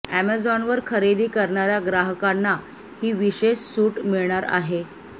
अॅमेझॉनवर खरेदी करणाऱ्या ग्राहकांना ही विशेष सूट मिळणार आहे